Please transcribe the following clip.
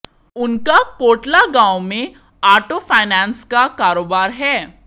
उनका कोटला गांव में आटो फाइनैंस का कारोबार है